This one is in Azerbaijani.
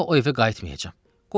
Daha o evə qayıtmayacam.